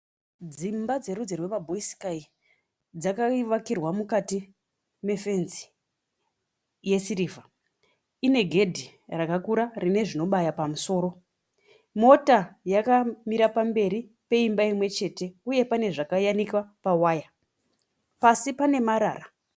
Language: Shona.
Dzimba dzerudzi rwemabhoisikai. Dzakavakirwa mukati mefenzi yesirivha ine gedhi rakakura rine zvinobaya pamusoro. Mota yakamira pamberi peimba imwe chete uye pane zvakayanikwa pawaya. Pasi pane marara.